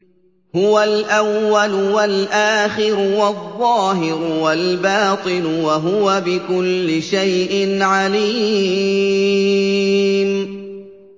هُوَ الْأَوَّلُ وَالْآخِرُ وَالظَّاهِرُ وَالْبَاطِنُ ۖ وَهُوَ بِكُلِّ شَيْءٍ عَلِيمٌ